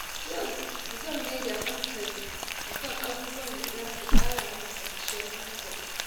Yau zan mai da hankali kan abubuwan da za su ƙara min kwanciyar hankali.